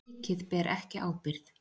Ríkið ber ekki ábyrgð